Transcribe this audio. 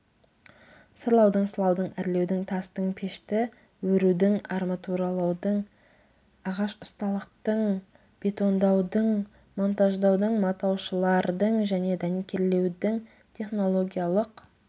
сырлаудың сылаудың әрлеудің тастың пешті өрудің арматуралаудың ағаш ұсталықтың бетондаудың монтаждаудың матаушылардың және дәнекерлеудің технологиялық